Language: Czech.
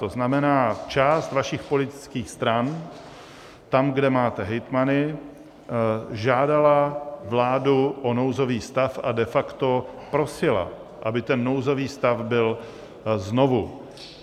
To znamená část vašich politických stran tam, kde máte hejtmany, žádala vládu o nouzový stav a de facto prosila, aby ten nouzový stav byl znovu.